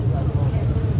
Qardaş.